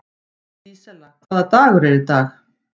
Dísella, hvaða dagur er í dag?